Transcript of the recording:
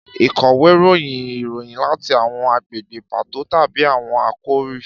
Ìkọ̀wé ròyìn ìròyìn láti àwọn agbègbè pàtó tàbí àwọn àkòrí